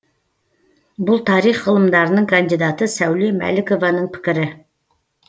бұл тарих ғылымдарының кандидаты сәуле мәлікованың пікірі